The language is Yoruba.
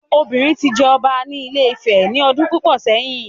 Obìnrin ti jẹ ọba ní Ile Ife ní ọdún púpọ̀ sẹ́yìn